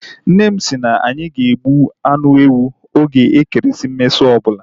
Nne m kwụrụ na anyị ga-egbu anụ ewu oge ekeresimesi ọbụla